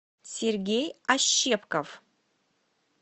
сергей ощепков